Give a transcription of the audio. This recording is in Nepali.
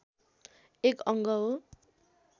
एक अङ्ग हो